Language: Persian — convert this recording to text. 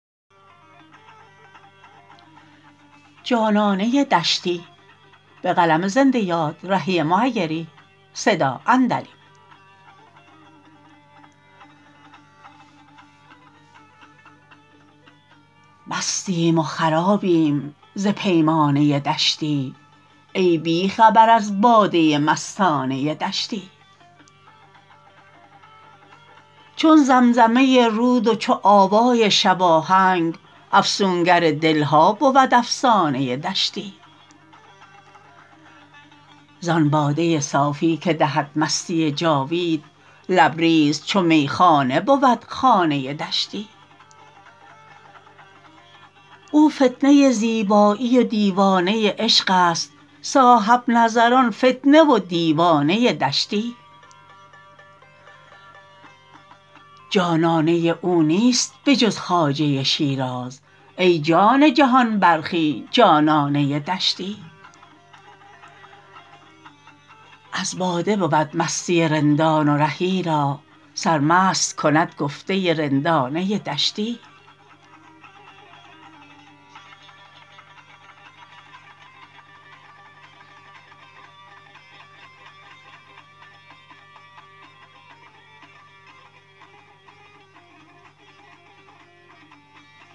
مستیم و خرابیم ز پیمانه دشتی ای بی خبر از باده مستانه دشتی چون زمزمه رود و چو آوای شباهنگ افسونگر دل ها بود افسانه دشتی زان باده صافی که دهد مستی جاوید لبریز چو میخانه بود خانه دشتی او فتنه زیبایی و دیوانه عشق است صاحب نظران فتنه و دیوانه دشتی جانانه او نیست به جز خواجه شیراز ای جان جهان برخی جانانه دشتی از باده بود مستی رندان و رهی را سرمست کند گفته رندانه دشتی